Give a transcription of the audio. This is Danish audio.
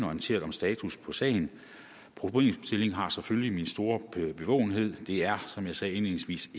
orienteret om status på sagen problemstillingen har selvfølgelig min store bevågenhed det er som jeg sagde indledningsvis